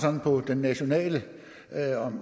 på det nationale